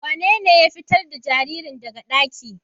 Wanene ya fitar da jaririn daga ɗaki?